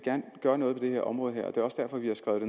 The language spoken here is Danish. gøre noget ved det her område og det er også derfor at vi har skrevet